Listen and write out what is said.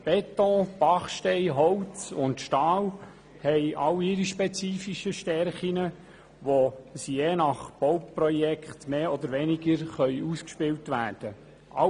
Beton, Backstein, Holz und Stahl haben alle ihre spezifischen Stärken, die je nach Bauprojekt mehr oder weniger ausgespielt werden können.